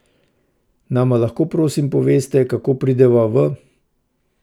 Nama lahko prosim poveste, kako prideva v ...